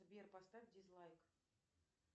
сбер поставь дизлайк